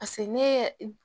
ne ye